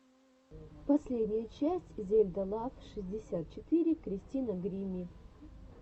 последняя часть зельда лав шестьдесят четыре кристина гримми